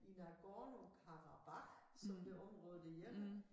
I Nagorno-Karabakh som det område hedder